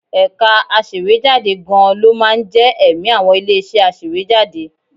Ẹ̀ka aṣèwéjádé gan-an ló máa ń jẹ́ ẹ̀mí àwọn ilé-iṣẹ́ aṣèwéjádé